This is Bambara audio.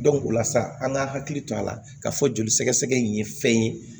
o la sa an ka hakili to a la ka fɔ joli sɛgɛ sɛgɛ nin ye fɛn ye